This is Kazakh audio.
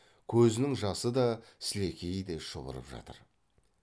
көзінің жасы да сілекейі де шұбырып жатыр